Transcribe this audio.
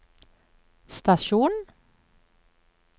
stasjon